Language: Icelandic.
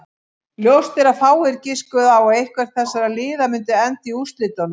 Ljóst er að fáir giskuðu á að eitthvert þessara liða myndi enda í úrslitunum.